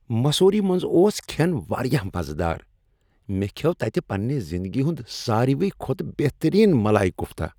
مسوری منٛز اوس کھٮ۪ن واریاہ مزٕ دار۔ مےٚ کھیوٚو تتہ پنٛنہ زنٛدگی ہنٛد ساروٕے کھۄتہٕ بہترین مالائی کوفتا۔